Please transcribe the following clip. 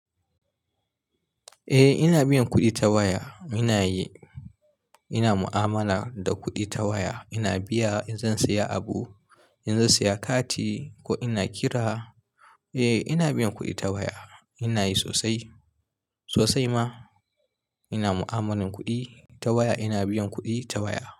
Eh ina biyan kuɗi ta waya. Ina yi, ina mu'amala da kuɗi ta waya. Ina biya in zan saya abu, in zan saya kati ko ina kira. Eh ina biyan kuɗi ta waya. Ina yi sosai sosai ma ina mu'amalan kuɗi ta waya. Ina biyan kuɗi ta waya.